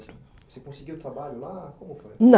Você conseguiu trabalho lá? Com foi? Não.